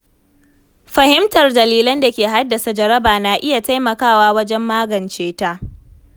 Fahimtar dalilan da ke haddasa jaraba na iya taimakawa wajen magance ta.